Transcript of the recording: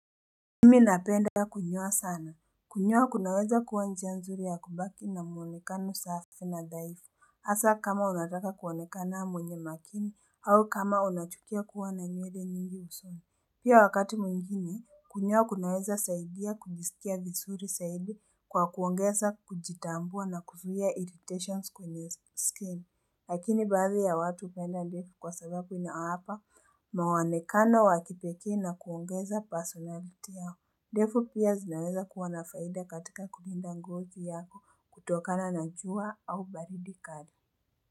Mi napenda kunyoa sana. Kunyoa kunaweza kuwa njia nzuri ya kubaki na muonekano safi na dhaifu. Hasa kama unataka kuonekana mwenye makini au kama unachukia kuwa na nywele nyingi usoni. Pia wakati mwingine kunyoa kunaweza saidia kujisikia visuri saidi kwa kuongeza kujitambua na kuzuia irritations kwenye skin. Lakini baadhi ya watu upenda ndefu kwa sababu inawapa maonekano wa kipekee na kuongeza personality yao. Ndefu pia zinaweza kuwa nafaida katika kulinda ngozi yako kutokana na jua au baridi kari.